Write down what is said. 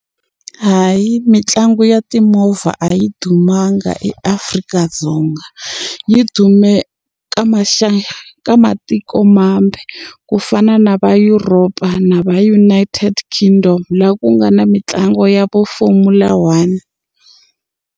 Hayi mitlangu ya timovha a yi dumanga eAfrika-Dzonga yi dume ka ka matiko mambe ku fana na va Europe-a na va United Kingdom laha ku nga na mitlangu ya vo formula one.